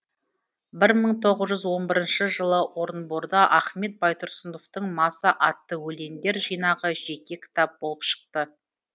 бір мың тоғыз жүз он бірінші жылы орынборда ахмет байтұрсыновтың маса атты өлеңдер жинағы жеке кітап болып шықты